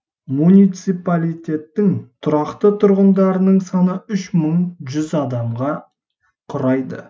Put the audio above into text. муниципалитеттің тұрақты тұрғындарының саны үш мың жүз адамға құрайды